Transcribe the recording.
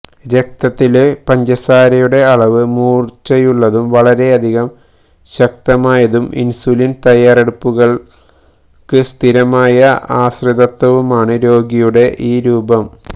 രക്തത്തിലെ പഞ്ചസാരയുടെ അളവ് മൂർച്ചയുള്ളതും വളരെയധികം ശക്തമായതും ഇൻസുലിൻ തയ്യാറെടുപ്പുകൾക്ക് സ്ഥിരമായ ആശ്രിതത്വവുമാണ് രോഗിയുടെ ഈ രൂപം